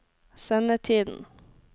sendetiden